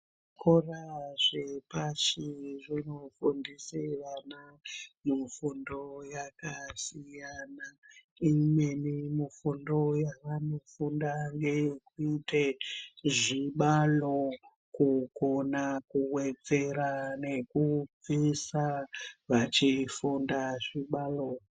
Zvikora zvepashi zvinofundise vana mufundo yakasiyana imweni mufundo yavanofunda ngeyekuite zvibalo kukona kuwedzera nekubvisa vachifunda zvibalo.